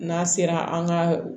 N'a sera an ka